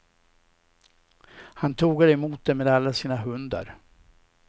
Han tågade emot dem med alla sina hundar.